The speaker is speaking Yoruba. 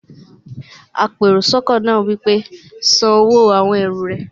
apèròsọ́kọ́ náà wí pé, "san owó àwon ẹrù rẹ!